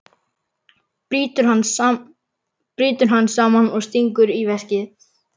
Brýtur hann saman og stingur í veskið.